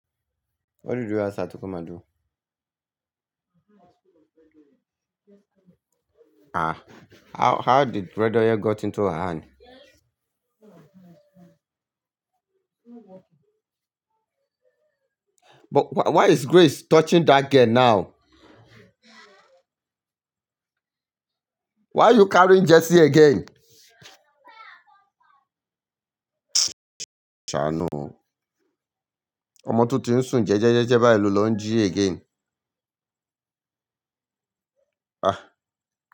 What did you ask her to come and do? Ah, how, how did bread oye got into her hand? But wh-why is Grace touching that girl now? Why are you carrying Jessie again? Shanu. Omo Toti n sun je'jeje je'je ba elu lon ji again. Ah.